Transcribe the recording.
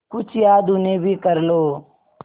कुछ याद उन्हें भी कर लो